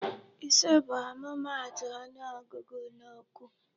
Ise bụ ọmụmaatụ ọnụọgụgụ n'okwu.